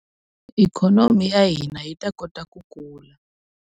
Ikhonomi ya hina yi ta kota ku kula.